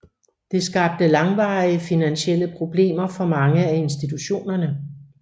Det skabte langvarige finansielle problemer for mange af institutionerne